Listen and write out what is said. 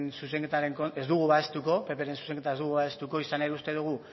zuzenketa ez dugu babestuko izan ere uste dugu